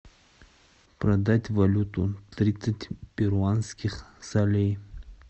продать валюту тридцать перуанских солей